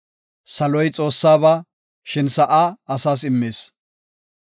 Saloy Xoossaba; shin sa7a asas immis.